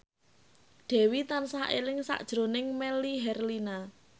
Dewi tansah eling sakjroning Melly Herlina